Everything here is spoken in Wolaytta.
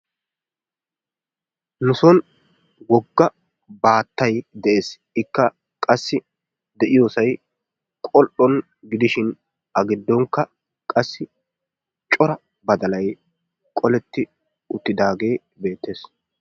Nu son wogga baattay de'ees, ikka de'iyoosay qol''on gidishin a giddonkka cora badalay qoletti uttidaage beettees.